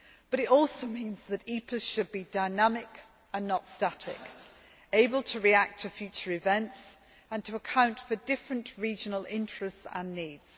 It also means that EPAs should be dynamic and not static, able to react to future events and to account for different regional interests and needs.